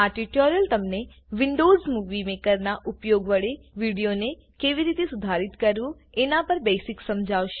આ ટ્યુટોરીયલ તમને Windows Movie મેકરનાં ઉપયોગ વડે વિડીયોને કેવી રીતે સુધારિત કરવું એના પર બેસિક્સ સમજાવશે